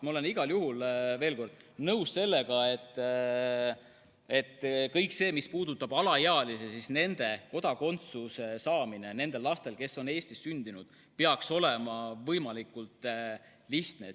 Ma olen igal juhul nõus sellega, mis puudutab alaealisi, et kodakondsuse saamine nendel lastel, kes on Eestis sündinud, peaks olema võimalikult lihtne.